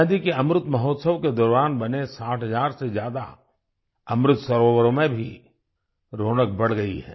आजादी के अमृत महोत्सव के दौरान बने 60 हजार से ज्यादा अमृत सरोवरों में भी रौनक बढ़ गई है